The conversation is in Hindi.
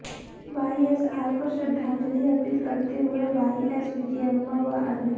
वाईएसआर को श्रद्धांजलि अर्पित करते हुए वाईएस विजयम्मा व अन्य